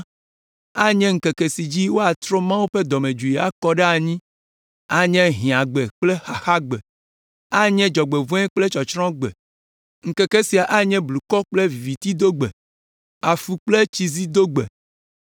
Anye ŋkeke si dzi woatrɔ Mawu ƒe dɔmedzoe akɔ ɖe anyi; anye hiãgbe kple xaxagbe, anye dzɔgbevɔ̃e kple tsɔtsrɔ̃gbe. Ŋkeke sia anye blukɔ kple vivitidogbe, afu kple tsizidogbe,